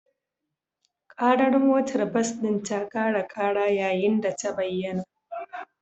Ƙarar motar bas ɗin ta ƙara ƙara yayin da ta bayyana